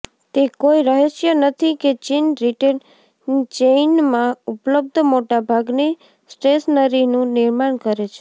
તે કોઈ રહસ્ય નથી કે ચીન રિટેલ ચેઇનમાં ઉપલબ્ધ મોટાભાગની સ્ટેશનરીનું નિર્માણ કરે છે